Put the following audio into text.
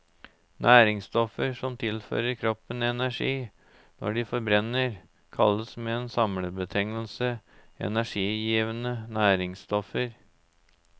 Næringsstoffer som tilfører kroppen energi når de forbrenner, kalles med en samlebetegnelse energigivende næringsstoffer.